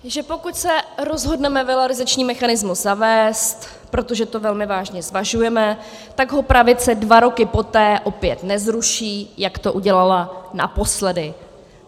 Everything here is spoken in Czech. ... že pokud se rozhodneme valorizační mechanismus zavést, protože to velmi vážně zvažujeme, tak ho pravice dva roky poté opět nezruší, jak to udělala naposledy.